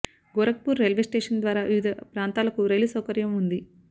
Gorakhpur railway station ద్వారా వివిధ ప్రాంతాలకు రైలు సౌకర్యం ఉంది